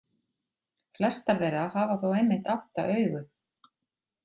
Flestar þeirra hafa þó einmitt átta augu.